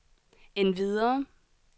endvidere